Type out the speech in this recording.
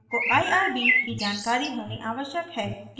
आपको irb की जानकारी होनी आवश्यक है